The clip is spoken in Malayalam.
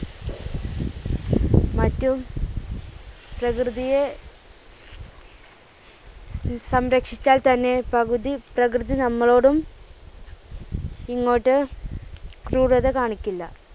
മറ്റും പ്രകൃതിയെ സംരക്ഷിച്ചാൽ തന്നെ പ്രകൃതി, പ്രകൃതി നമ്മളോടും ഇങ്ങോട്ട് ക്രൂരത കാണിക്കില്ല.